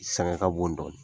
Sangaka b'o dɔn